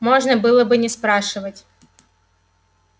можно было бы не спрашивать